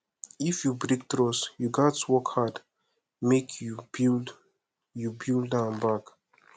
if you break trust you gats work hard make you build you build am back